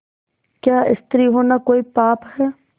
क्या स्त्री होना कोई पाप है